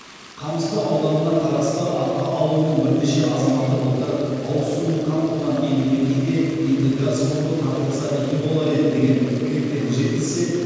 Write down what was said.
қамысты ауданына қарасты арқа ауылының бірнеше азаматы былтыр ауыз сумен қамтылған елді мекенге енді газ құбыры тартылса игі болар еді деген тілектерін жеткізсе